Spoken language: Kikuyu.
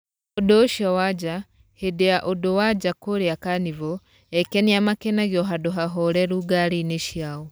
ũndu ũcio wa nja, Hĩndĩ ya ũndũ wa njaa kũrĩa Kanivo, ekenia makenagio handũ hahoreru ngari-ĩnĩ ciao.